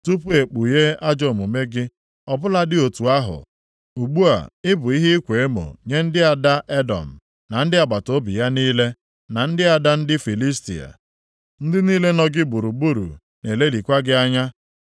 tupu e kpughe ajọ omume gị. Ọ bụladị otu ahụ, ugbu a ị bụ ihe ịkwa emo nye ndị ada Edọm + 16:57 Ọtụtụ akwụkwọ mgbe ochie na-ede Aram na ndị agbataobi ya niile, na ndị ada ndị Filistia. Ndị niile nọ gị gburugburu na-elelịkwa gị anya.